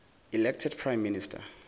elected prime minister